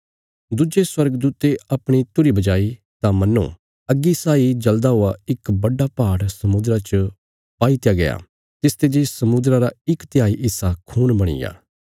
दुज्जे स्वर्गदूते अपणी तुरही बजाई तां मन्नो अग्गी साई जल़दा हुआ इक बड्डा पहाड़ समुद्रा च पाई दित्या गया तिसते जे समुद्रा रा इक तिहाई हिस्सा खून बणीग्या